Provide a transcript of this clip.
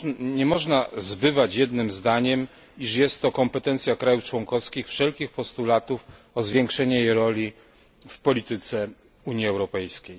Nie można zbywać jednym zdaniem, iż jest to kompetencja krajów członkowskich wszelkich postulatów o zwiększenie jej roli w polityce Unii Europejskiej.